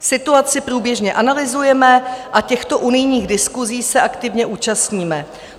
Situaci průběžně analyzujeme a těchto unijních diskusí se aktivně účastníme.